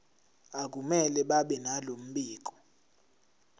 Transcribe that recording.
akumele babenalo mbiko